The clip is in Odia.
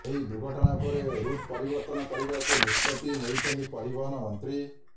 ଏହି ଦୁର୍ଘଟଣା ପରେ ରୁଟ୍ ପରିବର୍ତ୍ତନ କରିବାକୁ ନିଷ୍ପତ୍ତି ନେଇଛନ୍ତି ପରିବହନ ମନ୍ତ୍ରୀ